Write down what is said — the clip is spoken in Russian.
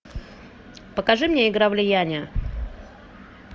покажи мне игра влияния